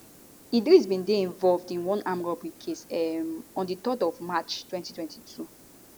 idris bin dey involved in one armed robbery case um on di 3rd of march 2022